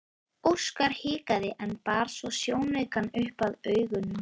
Óskar hikaði en bar svo sjónaukann upp að augunum.